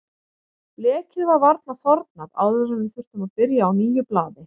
Blekið var varla þornað áður en við þurftum að byrja á nýju blaði.